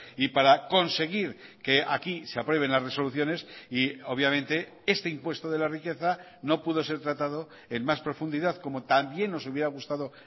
y para conseguir que aquí se aprueben las resoluciones y obviamente este impuesto de la riqueza no pudo ser tratado en más profundidad como también nos hubiera gustado